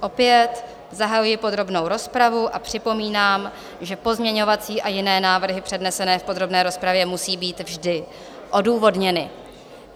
Opět zahajuji podrobnou rozpravu a připomínám, že pozměňovací a jiné návrhy přednesené v podrobné rozpravě musí být vždy odůvodněny.